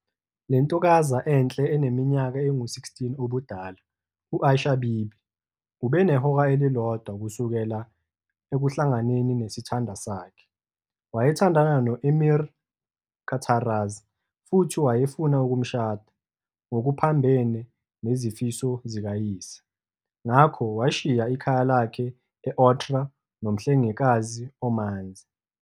Lentokaza enhle eneminyaka engu-16 ududala, u-Aisha-Bibi, ubenehora elilodwa kusukela ekuhlanganeni nesithandwa sakhe. Wayethandana no-emir kaTaraz futhi wayefuna ukumshada, ngokuphambene nezifiso zikayise, ngakho washiya ikhaya lakhe e-Otrar nomhlengikazi omanzi.